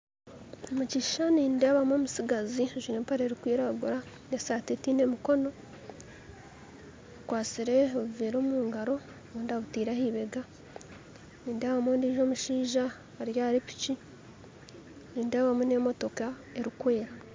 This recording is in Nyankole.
Omukishushani nindeebamu omutsigazi ajwire empare erikwiragura, esaati etiine mikono akwasire obuveera omu ngaro obundi abutiire ahibeega, nindeebamu ondiijo omushaija ari aha piki, nindeebamu n'emotoka erikwera